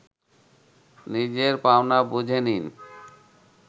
নিজের পাওনা বুঝে নিন